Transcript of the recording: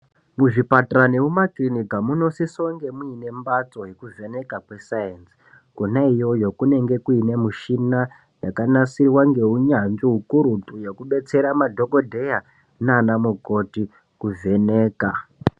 Muzvipatara nemuma kilinika munosisa kunge mune mbatso yokuvheneka kwesayinsi kona iyoyo kunenge kuine mishina yakanasirwa ngehunyanzvi hukurutu wekudetsera madhokodheya nanamukoti kuvheneka.